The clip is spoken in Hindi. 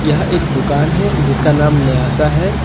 यह एक दुकान है जिसका नाम न्यासा है।